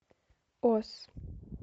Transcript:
оз